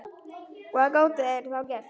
Hvað gátu þeir þá gert?